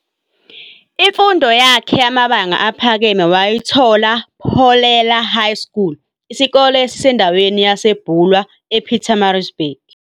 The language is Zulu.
imfundo yakhe yamabanga aphakeme wayithola Pholela High School, isikole esisendaweni yaseBulwer, ePietermaritzburg.